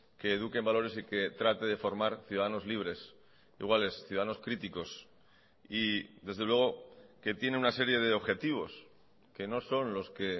que eduque en valores y que trate de formar ciudadanos libres iguales ciudadanos críticos y desde luego que tiene una serie de objetivos que no son los que